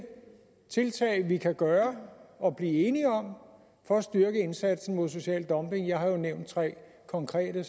tiltag vi kan gøre og blive enige om for at styrke indsatsen mod social dumping jeg har jo nævnt tre konkrete